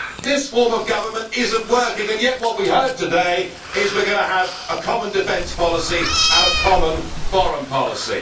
This form of government is not working, and yet what we heard today is that we are going to have a common defence policy and a common foreign policy.